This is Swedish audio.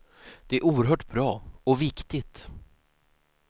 Det är oerhört bra och viktigt.